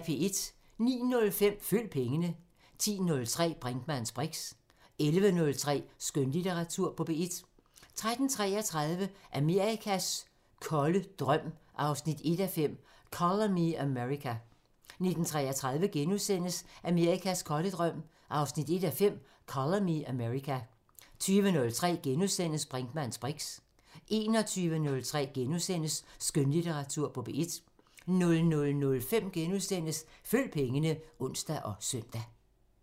09:05: Følg pengene 10:03: Brinkmanns briks 11:03: Skønlitteratur på P1 13:33: Amerikas kolde drøm 1:5 – Colour Me America 19:33: Amerikas kolde drøm 1:5 – Colour Me America * 20:03: Brinkmanns briks * 21:03: Skønlitteratur på P1 * 00:05: Følg pengene *(ons og søn)